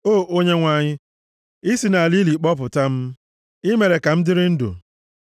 O Onyenwe anyị, i si nʼala ili kpọpụta m, i mere ka m dịrị ndụ.